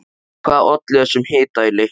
Hvað olli þessum hita í leiknum?